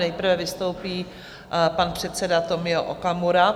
Nejprve vystoupí pan předseda Tomio Okamura.